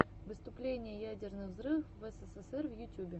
выступление ядерных взрывов в эсэсэсэр в ютюбе